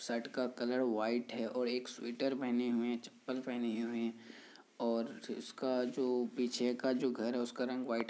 shirt का colour white है और एक स्वेटर पहने हुए हैं चप्पल पहने हुए हैं और अ इसका जो पीछे का जो घर है उसका रंग व्हाइट है --